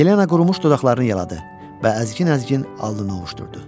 Yelena qurumuş dodaqlarını yaladı və əzikin-əzikin alnını ovuşdurdu.